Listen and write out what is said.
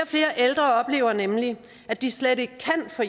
flere ældre oplever nemlig at de slet ikke kan få